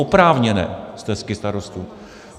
Oprávněné stesky starostů.